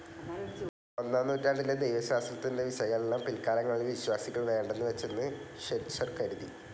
ഒന്നാം നൂറ്റാണ്ടിലെ ദൈവശാസ്ത്രത്തിന്റെ വിശകലനം പിൽക്കാലങ്ങളിൽ വിശ്വാസികൾ വേണ്ടെന്നു വച്ചെന്ന് ഷ്വൈറ്റ്സർ കരുതി.